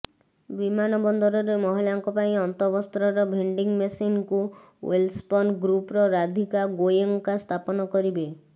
ବିମାନବନ୍ଦରରେ ମହିଳାଙ୍କ ପାଇଁ ଅନ୍ତବସ୍ତ୍ରର ଭେଣ୍ଡିଙ୍ଗ ମେସିନ୍କୁ େଓ୍ବଲସ୍ପନ୍ ଗ୍ରୁପ୍ର ରାଧିକା ଗୋୟେଙ୍କା ସ୍ଥାପନ କରିବେ